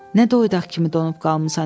Nə doyddaq kimi donub qalmısan?